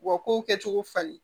U ka kow kɛcogo falen